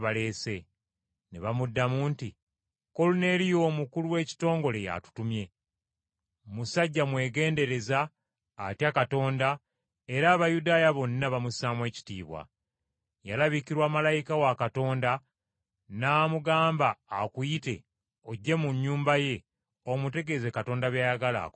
Ne bamuddamu nti, “Koluneeriyo omukulu w’ekitongole y’atutumye. Musajja mwegendereza, atya Katonda era Abayudaaya bonna bamussaamu ekitiibwa. Yalabikirwa malayika wa Katonda n’amugamba akuyite ojje mu nnyumba ye omutegeeze Katonda by’ayagala akole.”